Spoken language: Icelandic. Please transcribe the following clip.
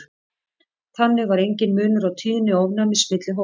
þannig var enginn munur á tíðni ofnæmis milli hópanna